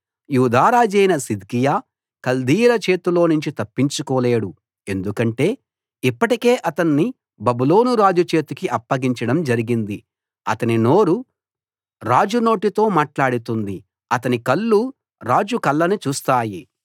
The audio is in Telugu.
యూదా రాజైన సిద్కియా కల్దీయుల చేతిలోనుంచి తప్పించుకోలేడు ఎందుకంటే ఇప్పటికే అతణ్ణి బబులోను రాజు చేతికి అప్పగించడం జరిగింది అతని నోరు రాజు నోటితో మాట్లాడుతుంది అతని కళ్ళు రాజు కళ్ళను చూస్తాయి